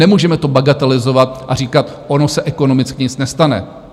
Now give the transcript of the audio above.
Nemůžeme to bagatelizovat a říkat: Ono se ekonomicky nic nestane.